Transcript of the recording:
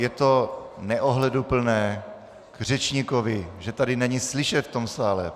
Je to neohleduplné k řečníkovi, že tady není slyšet v tom sále.